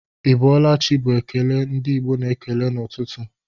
Ị bọọla chi bu ekele ndi Igbo na-ekele n'ụtụtụ